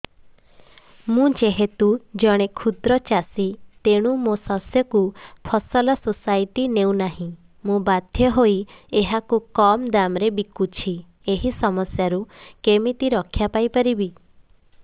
ମୁଁ ଯେହେତୁ ଜଣେ କ୍ଷୁଦ୍ର ଚାଷୀ ତେଣୁ ମୋ ଶସ୍ୟକୁ ଫସଲ ସୋସାଇଟି ନେଉ ନାହିଁ ମୁ ବାଧ୍ୟ ହୋଇ ଏହାକୁ କମ୍ ଦାମ୍ ରେ ବିକୁଛି ଏହି ସମସ୍ୟାରୁ କେମିତି ରକ୍ଷାପାଇ ପାରିବି